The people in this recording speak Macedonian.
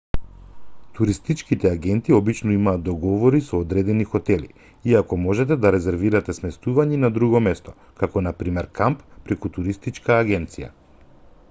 туристичките агенти обично имаат договори со одредени хотели иако можете да резервирате сместување и на друго место како на пример камп преку туристичка агенција